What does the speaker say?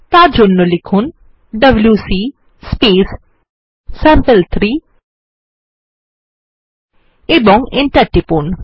তার জন্য লিখুন ডব্লিউসি স্যাম্পল3 এবং এন্টার টিপুন